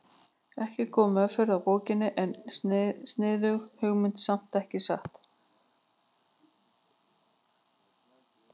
Ekki góð meðferð á bókinni en sniðug hugmynd samt, ekki satt?